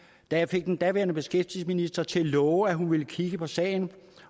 da jeg fik den daværende beskæftigelsesminister til at love at hun ville kigge på sagen